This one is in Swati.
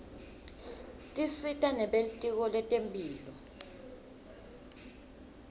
tisita nebelitiko letemphilo